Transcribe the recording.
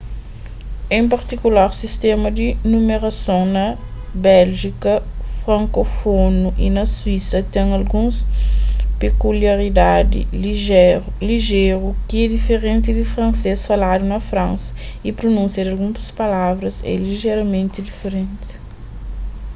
en partikular sistéma di numerason na béljika frankófunu y na suísa ten alguns pekuliaridadi lijéru ki é diferenti di fransês faladu na fransa y prunúnsia di alguns palavras é lijeramenti diferenti